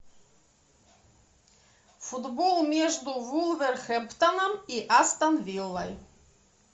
футбол между вулверхэмптоном и астон виллой